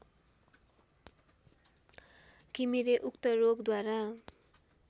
घिमिरे उक्त रोगद्वारा